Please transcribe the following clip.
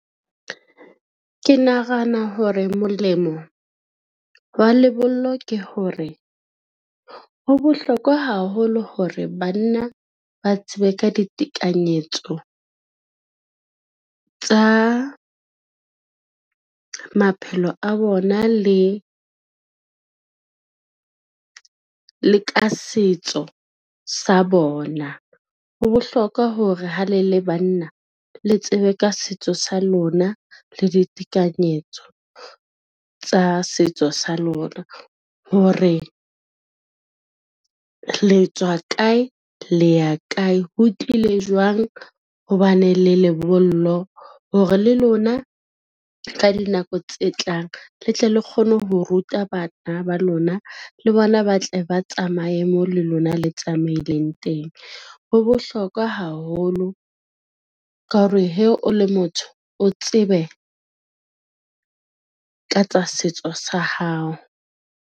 Ke nahana hore molemo wa lebollo ke hore, ho bohlokwa haholo hore banna ba tsebe ka ditekanyetso tsa maphelo a bona le ka setso sa bona. Ho bohlokwa hore ha le le banna le tsebe ka setso sa lona, le ditekanyetso tsa setso sa lona, hore le tswa kae le ya kae, ho tlile jwang ho ba ne le lebollo hore le lona ka dinako tse tlang, le tle le kgone ho ruta bana ba lona, le bona ba tle ba tsamaye mo le lona le tsamaileng teng. Ho bohlokwa haholo ka hore he o le motho, o tsebe ka tsa setso sa hao.